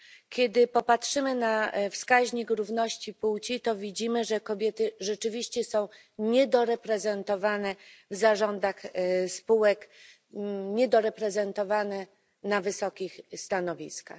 Kiedy popatrzymy na wskaźnik równości płci, to widzimy, że kobiety rzeczywiście są niedoreprezentowane w zarządach spółek, niedoreprezentowane na wysokich stanowiskach.